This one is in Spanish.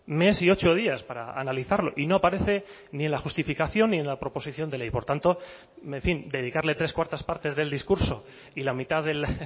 mes y ocho días para analizarlo y no aparece ni en la justificación ni en la proposición de ley por tanto en fin dedicarle tres barra cuatro partes del discurso y la mitad del